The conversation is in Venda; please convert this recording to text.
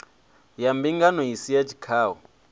ya mbingano isi ya tshikhau